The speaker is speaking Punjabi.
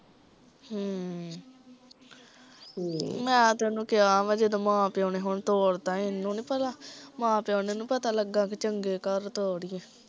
ਹਮ ਮੈ ਤੇ ਓਹਨੂੰ ਕਿਹਾ ਜਦੋਂ ਮਾਂ ਪਿਉ ਨੇ ਹੁਣ ਤੋਰਤਾ, ਏਹਨੂੰ ਨੀ ਪਤਾ, ਮਾਂ ਪਿਓ ਨੂੰ ਨੀ ਪਤਾ ਲੱਗਾ ਵੀ ਚੰਗੇ ਘਰ ਤੋਰੀਏ